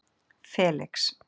Felix